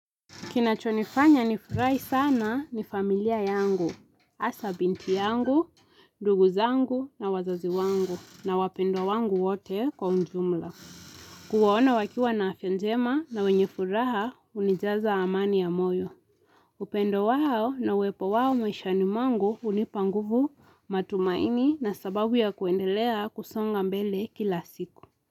Kinachonifanya nifurahi sana ni familia yangu, hasa binti yangu, nduguzangu na wazazi wangu na wapendwa wangu wote kwa unjumla. Kuwaona wakiwa na afyajema na wenye furaha hunijaza amani ya moyo. Upendo wao na uwepo wao maishani mwangu hunipanguvu matumaini na sababu ya kuendelea kusonga mbele kila siku.